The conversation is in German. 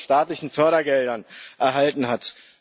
EUR an staatlichen Fördergeldern erhalten hat.